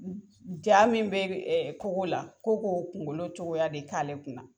Jaa min bɛ kogo la ko k'o kungolo cogoya de k'ale kun na.